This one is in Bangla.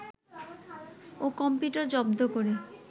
ও কম্পিউটার জব্দ করে